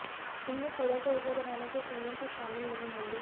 इनमें कूड़े से ऊर्जा बनाने के संयंत्र शामिल नहीं होंगे